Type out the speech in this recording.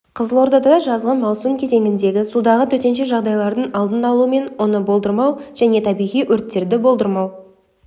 қызылордада жазғы маусым кезеңіндегі судағы төтенше жағдайлардың алдын алу мен оны болдырмау және табиғи өрттерді болдырмау